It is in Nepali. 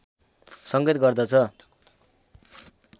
संकेत गर्दछ